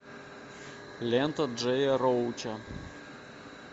лента джея роуча